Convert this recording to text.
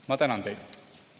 Ma tänan teid!